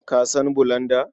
Ka san bulanda?